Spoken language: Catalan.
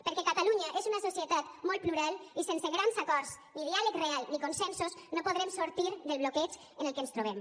perquè catalunya és una societat molt plural i sense grans acords ni diàleg real ni consensos no podrem sortir del bloqueig en el que ens trobem